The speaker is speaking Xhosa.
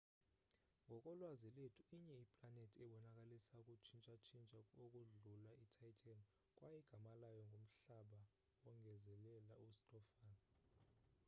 ngokolwazi lwethu inye iplanethi ebonakalisa ukutshintsha-tshintsha ukodlula ititan kwaye igama layo ngumhlaba wongezelela ustofan